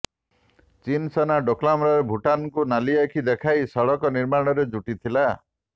ଚୀନ ସେନା ଡୋକଲାମରେ ଭୂଟାନକୁ ନାଲି ଆଖି ଦେଖାଇ ସଡକ ନିର୍ମାଣରେ ଜୁଟିଥିଲା